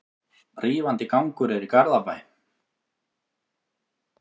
Rífandi gangur er í Garðabæ.